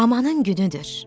Amanın günüdür.